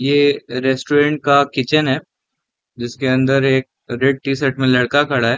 ये रेस्टॊरेंट का किचन है जिसके अंदर एक रेड टी-शर्ट में एक लड़का खड़ा हैं ।